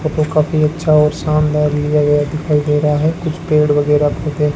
यहां पे काफी अच्छा और शानदार लिया गया दिखाई दे रहा है कुछ पेड़ वगैरह भी दे--